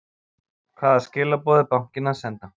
Hvaða skilaboð er bankinn að senda?